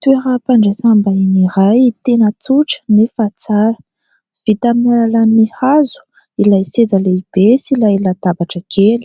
Toeram-pandraisam-bahiny iray tena tsotra nefa tsara. Vita amin'ny alalan'ny hazo ilay seza lehibe sy ilay latabatra kely.